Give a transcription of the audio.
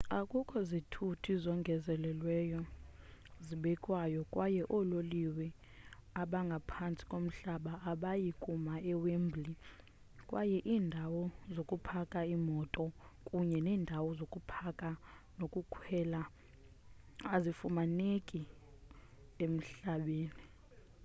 akukho zithuthi zongezelelweyo zibekwayo kwaye oololiwe abangaphantsi komhlaba abayi kuma ewembley kwaye iindawo zokupaka iimoto kunye neendawo zokupaka nokukhwela azifumaneki emhlabeni